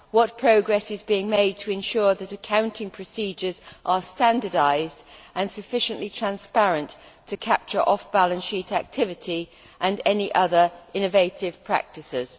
What progress is being made to ensure that accounting procedures are standardised and sufficiently transparent to capture off balance sheet activity and any other innovative practices?